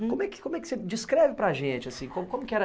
Como é que, como é que você descreve para a gente assim? Como como que era